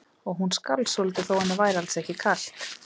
Og hún skalf svolítið þó að henni væri alls ekki kalt.